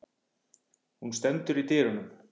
Hún stendur í dyrunum.